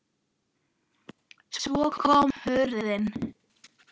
Svo kom hrunið.